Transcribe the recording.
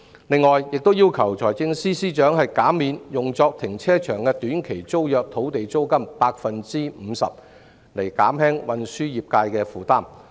此外，我亦要求財政司司長減免用作停車場的短期租約土地租金 50%， 以減輕運輸業界的負擔。